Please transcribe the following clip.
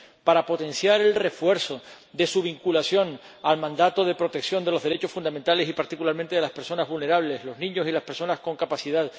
para potenciar el refuerzo de su vinculación al mandato de protección de los derechos fundamentales y, particularmente, de las personas vulnerables los niños y las personas con discapacidad